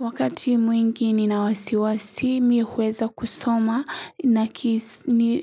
Wakati mwingi nina wasiwasi mimi huweza kusoma na